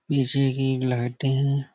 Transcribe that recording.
पीछे की लाईटें हैं।